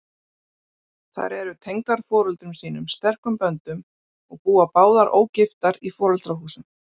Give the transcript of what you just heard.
Þær eru tengdar foreldrum sínum sterkum böndum og búa báðar ógiftar í foreldrahúsum.